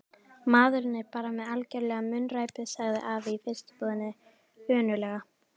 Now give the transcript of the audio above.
Maðurinn er bara með algjöra munnræpu sagði afi í fiskbúðinni önuglega.